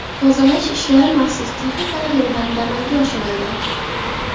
Tozalash ishlari maxsus texnikalar yordamida amalga oshirildi.